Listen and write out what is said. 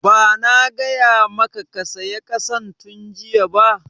Ba na gaya maka ka saya ƙasan tun jiya ba?\